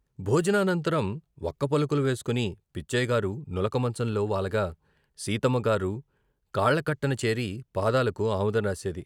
భోజనానంతరం వక్కపలుకులు వేసుకుని పిచ్చయ్య గారు నులక మంచంలో వాలగా సీతమ్మ గారు కాళ్ళకట్టన చేరి పాదాలకు ఆముదం రాసేది.